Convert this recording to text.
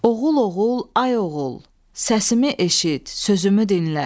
Oğul, oğul, ay oğul, səsimi eşit, sözümü dinlə.